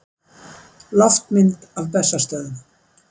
Loftmynd af Bessastöðum.